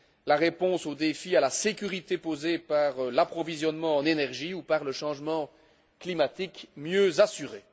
la réponse au défi à la sécurité posé par l'approvisionnement en énergie par le changement climatique mieux assurée.